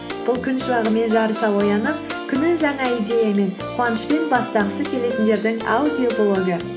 бұл күн шуағымен жарыса оянып күнін жаңа идеямен қуанышпен бастағысы келетіндердің аудиоблогы